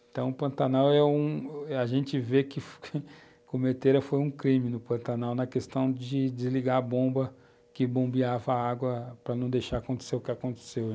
Então, Pantanal é um, a gente vê que cometeram foi um crime no Pantanal na questão de desligar a bomba que bombeava a água para não deixar acontecer o que aconteceu.